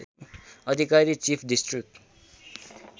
Adhikari chief district